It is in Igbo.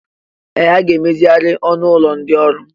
Ee! A ga-emezigharị ọnụ ụlọ ndị ọrụ.